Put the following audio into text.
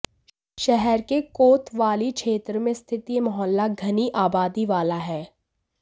शहर के कोतवाली क्षेत्र में स्थित यह मोहल्ला घनी आबादी वाला है